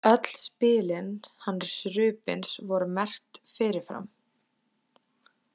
Öll spilin hans Rubins voru merkt fyrirfram.